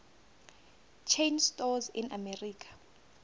chain stores in america